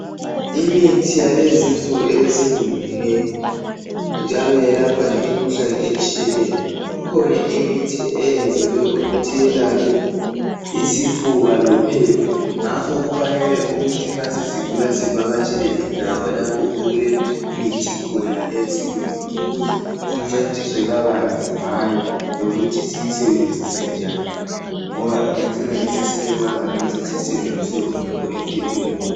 Imithi yakulezinsuku eyesilungu njalo iyelapha imikhuhlane etshiyeneyo ikhona imithi eyenziwe ukuthi iyelaphe isifuba lophepha ngakho kufanele ukuthi nxa sesigula sivakatshele indawo lapho okulemithi khona eyesilungu ukuze sincediswe kabanzi ngayo lokhuthi siyisebenzise njani ngoba ingacina isisilimaza nxa sesiyisebenzise ngokungekho emthethweni